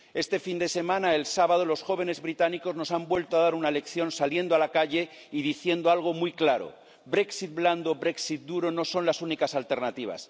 Este fin de semana, el sábado, los jóvenes británicos nos han vuelto a dar una lección saliendo a la calle y diciendo algo muy claro Brexit blando o Brexit duro no son las únicas alternativas